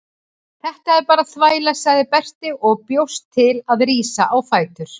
Þetta er bara þvæla, sagði Berti og bjóst til að rísa á fætur.